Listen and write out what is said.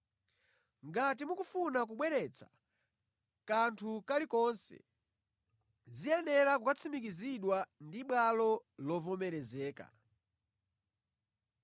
Ngati mukufuna kubweretsa kanthu kali konse, ziyenera kukatsimikizidwa ndi bwalo lovomerezeka.